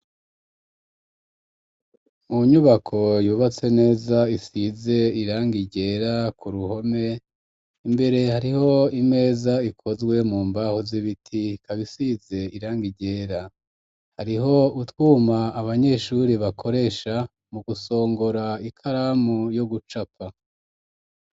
Mu nyubako yubatse neza isize irangi ryera ku ruhome, imbere hariho imeza ikozwe mu mbaho z'ibiti ikab isize irangi ryera. Hariho utwuma abanyeshure bakoresha mu gusongora ikaramu yo gucapa.